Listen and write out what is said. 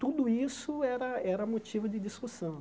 Tudo isso era era motivo de discussão.